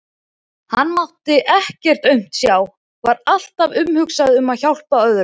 Hann mátti ekkert aumt sjá, var alltaf umhugað um að hjálpa öðrum.